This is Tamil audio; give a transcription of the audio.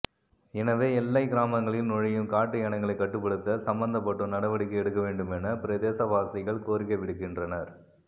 எனவே எல்லைக் கிராமங்களில் நுழையும் காட்டு யானைகளைக் கட்டுப்படுத்த சம்பந்தப்பட்டோர் நடவடிக்கை எடுக்க வேண்டுமென பிரதேசவாசிகள் கோரிக்கை விடுக்கின்றனர்